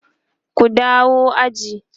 ku dawo aji!